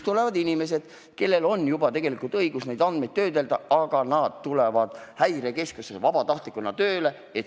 Tulevad inimesed, kellel juba on tegelikult õigus neid andmeid töödelda, aga nad tulevad Häirekeskusesse vabatahtlikuna tööle.